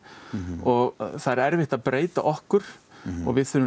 og það er erfitt að breyta okkur og við þurfum